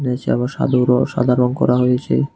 নীচে আবার সাদু র সাদা রং করা হয়েছে।